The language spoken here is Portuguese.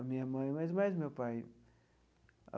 A minha mãe, mas mais o meu pai.